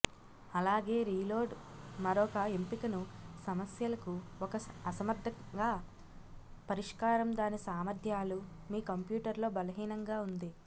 అలాగే రీలోడ్ మరొక ఎంపికను సమస్యలకు ఒక అసమర్థంగా పరిష్కారం దాని సామర్థ్యాలు మీ కంప్యూటర్ లో బలహీనంగా ఉంది